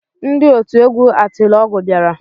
Ndị otu egwu atịlọgwụ bịara